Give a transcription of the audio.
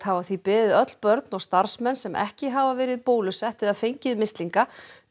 hafa því beðið öll börn og starfsmenn sem ekki hafa verið bólusett eða fengið mislinga